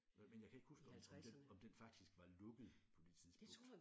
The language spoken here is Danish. Men men jeg kan ikke huske om den om den faktisk var lukket på det tidspunkt